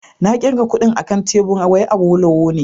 Na kirga kudin akan tebur wai Awolowo ne